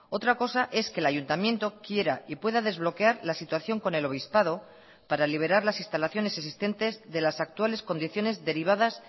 otra cosa es que el ayuntamiento quiera y pueda desbloquear la situación con el obispado para liberar las instalaciones existentes de las actuales condiciones derivadas